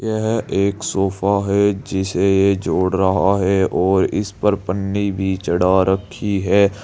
यह एक सोफा है जिसे ये जोड़ रहा है और इस पर पन्नी भी चढ़ा रखी है।